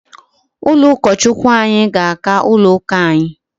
Ụlọ ụkọ Chukwu anyị ga-aka ụlọ ụka anyi